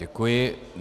Děkuji.